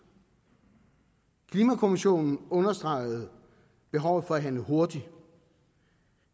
klimakommissionen understregede behovet for at handle hurtigt